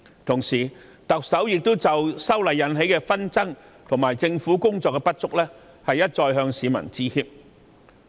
同時，特首亦已就修例引起的紛爭和政府工作的不足一再向市民致歉。